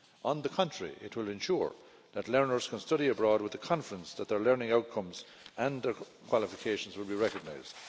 On the contrary, it will ensure that learners can study abroad with the confidence that their learning outcomes and their qualifications will be recognised.